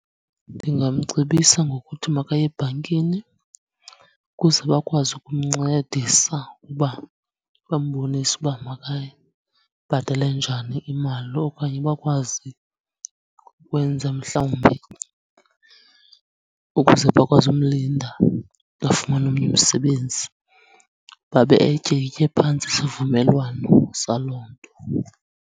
Ndingamcebisa ngokuthi makaye ebhankini ukuze bakwazi ukumncedisa uba bambonise uba makayibhatale njani imali, okanye bakwazi ukwenza mhlawumbi ukuze bakwazi umlinda afumane omnye umsebenzi, babe etyikitye phantsi isivumelwano saloo nto.